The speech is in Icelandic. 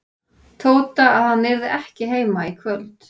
Tóta að hann yrði ekki heima í kvöld.